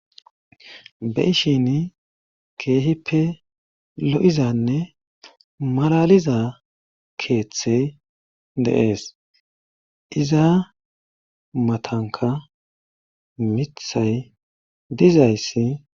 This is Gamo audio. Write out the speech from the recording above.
be'ishin keehippe lo'izanne malaliza keeththey dee'es iza matanka mithay dizayssi